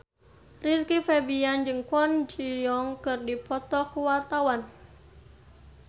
Rizky Febian jeung Kwon Ji Yong keur dipoto ku wartawan